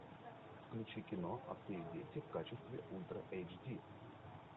включи кино отцы и дети в качестве ультра эйч ди